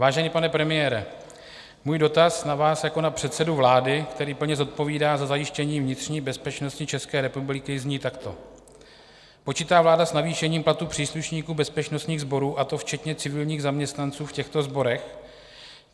Vážený pane premiére, můj dotaz na vás jako na předsedu vlády, který plně zodpovídá za zajištění vnitřní bezpečnosti České republiky, zní takto: Počítá vláda s navýšením platů příslušníků bezpečnostních sborů, a to včetně civilních zaměstnanců v těchto sborech?